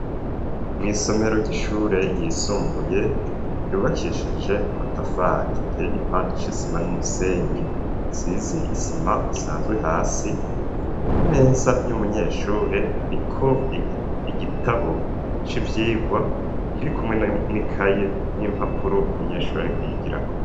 Mw'isomero ry'ishure yisumbuye yubakishije amatafari iteye igipande c'isima n'umusenyi, azize isima isanzwe hasi, ku meza y'umunyeshuri hariko igitabo c'ivyirwa kiri kumwe n'ikaye n'impapuro umunyeshuri ariko yigirako.